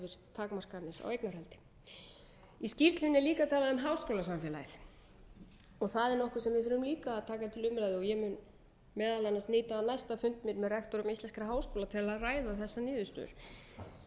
takmarkanir á eignarhaldi í skýrslunni er líka talað um háskólasamfélagið það er nokkuð sem við þurfum líka að taka til umræðu ég mun meðal annars nýta næsta fund minn með rektorum íslenskra háskóla til að ræða þessar